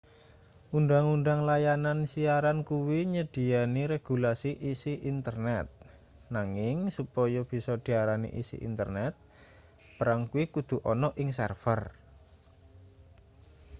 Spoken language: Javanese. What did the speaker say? undhang-undhang layanan siaran kuwi nyedhiyani regulasi isi internet nanging supaya bisa diarani isi internet barang kuwi kudu ana ing server